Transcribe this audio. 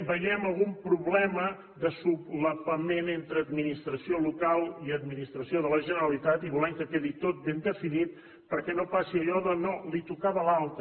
veiem algun problema d’encavalcament entre administració local i administració de la generalitat i volem que quedi tot ben definit perquè no passi allò de no li tocava a l’altre